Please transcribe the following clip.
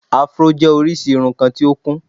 afro jẹ́ orísìí irun kan tí ó kún